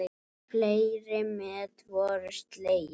Fleiri met voru slegin.